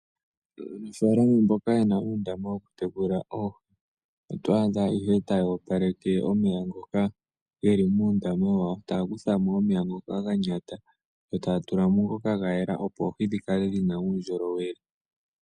Aanafalama mboka yena undama woku tekula oohi otwadha ihe tayopaleke omeya ngoka geli muundama wawo taya kuthamo omeya ngoka ganyata yo tayatulamo ngoka gayela opo oohi dhikale dhina uundjolowele.